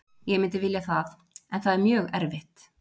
Ég myndi vilja það en það er mjög erfitt.